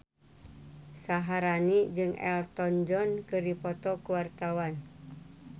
Syaharani jeung Elton John keur dipoto ku wartawan